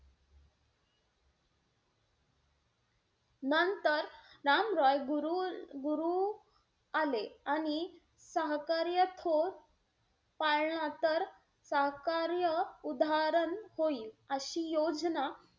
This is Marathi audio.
नंतर राम रॉय गुरु-गुरु आले. आणि सहकार्य थो पाळला तर सहकार्य उधाहरण होईल, अशी योजना